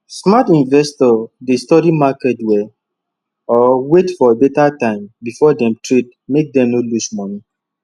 smart investors dey study market well or wait for better time before dem trade make dem no lose money